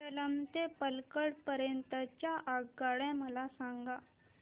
सेलम ते पल्लकड पर्यंत च्या आगगाड्या मला सांगा